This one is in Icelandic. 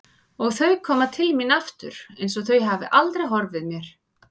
Og þau koma til mín aftur einsog þau hafi aldrei horfið mér.